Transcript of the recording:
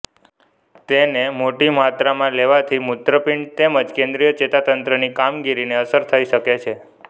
તેને મોટી માત્રમાં લેવાથી મૂત્રપિંડ તેમજ કેન્દ્રીય ચેતાતંત્રની કામગીરીને અસર થઇ શકે છે